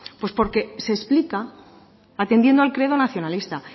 pues porque se explica atendiendo al credo nacionalista